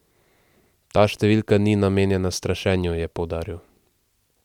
Ta številka ni namenjena strašenju, je poudaril.